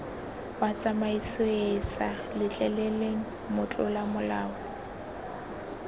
wa tsamaisoeesa letleleleng motlola molao